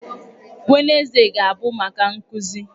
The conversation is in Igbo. Wednezde ga-abụ maka nkụzi.